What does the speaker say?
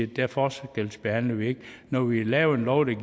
der forskelsbehandler vi ikke når vi laver en lov der